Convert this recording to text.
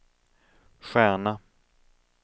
stjärna